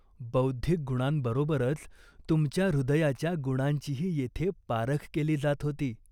बौद्धिक गुणांबरोबरच तुमच्या हृदयाच्या गुणांचीही येथे पारख केली जात होती.